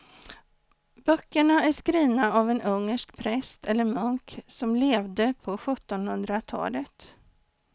Böckerna är skrivna av en ungersk präst eller munk som levde på sjuttonhundratalet.